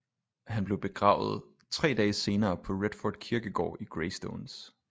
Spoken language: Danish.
Han blev begravet tre dage senere på redford kirkegård i greystones